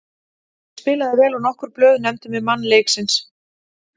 Ég spilaði vel og nokkur blöð nefndu mig mann leiksins.